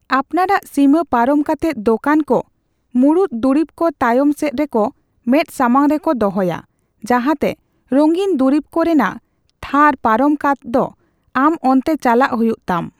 ᱟᱯᱱᱟᱨᱟᱜ ᱥᱤᱢᱟᱹ ᱯᱟᱨᱚᱢ ᱠᱟᱛᱮᱫ ᱫᱳᱠᱟᱱ ᱠᱚ ᱢᱩᱲᱩᱫ ᱫᱩᱨᱤᱵ ᱠᱚ ᱛᱟᱭᱚᱢ ᱥᱮᱪ ᱨᱮᱠᱚ ᱢᱮᱫ ᱥᱟᱢᱟᱝ ᱨᱮᱠᱚ ᱫᱚᱦᱚᱭᱟ, ᱡᱟᱦᱟᱛᱮ ᱨᱟᱝᱤᱱ ᱫᱩᱨᱤᱵ ᱠᱚ ᱨᱮᱱᱟᱜ ᱛᱷᱟᱨ ᱯᱟᱨᱚᱢ ᱠᱟᱛᱫ ᱟᱢ ᱚᱱᱛᱮ ᱪᱟᱞᱟᱜ ᱦᱩᱭᱩᱜ ᱛᱟᱢ ᱾